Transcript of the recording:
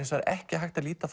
ekki hægt að líta